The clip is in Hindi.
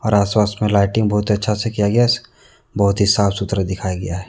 और आस पास में लाइटिंग बहुत अच्छा से किया गया है बहुत ही साफ सुथरा दिखाया गया है।